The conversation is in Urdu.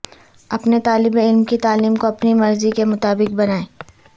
اپنے طالب علم کی تعلیم کو اپنی مرضی کے مطابق بنائیں